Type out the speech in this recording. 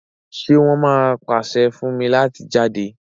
ṣe won má pase fún mí láti jáde?